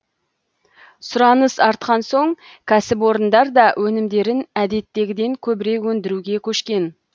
сұраныс артқан соң кәсіпорындар да өнімдерін әдеттегіден көбірек өндіруге көшкен